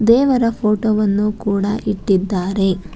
ದೇವರ ಫೋಟೋ ವನ್ನು ಕೂಡ ಇಟ್ಟಿದ್ದಾರೆ.